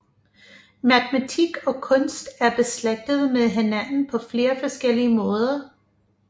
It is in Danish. Matematik og kunst er beslægtet med hinanden på flere forskellige måder